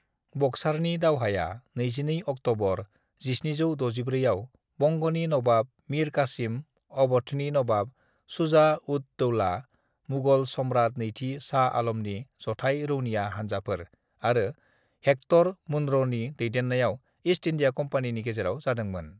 "बक्सारनि दावहाया 22 अक्ट'बर 1764 आव बंग'नि नवाब मिर कासिम, अव'धनि नवाब शुजा-उद-दौला, मुगल सम्रात नैथि शाह आल'मनि जथाइ रौनिया हानजाफोर आरो हेक्टर मुनर'नि दैदेननाय ईस्ट इन्डिया कम्पानिनि गेजेराव जादोंमोन।"